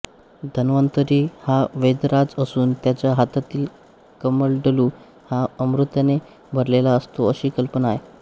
धन्वंतरी हा वैद्यराज असून त्याच्या हातातील कमंडलू हा अमृताने भरलेला असतो अशी कल्पना आहे